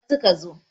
jiya da safe suka zo